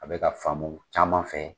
A be ka faamu caman fɛ .